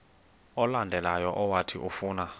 olandelayo owathi ufuna